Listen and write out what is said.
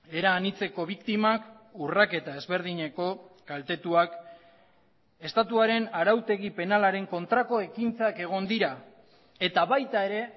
era anitzeko biktimak urraketa ezberdineko kaltetuak estatuaren arautegi penalaren kontrako ekintzak egon dira eta baita ere